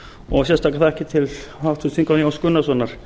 og sérstakar þakkir til háttvirts þingmanns jóns gunnarssonar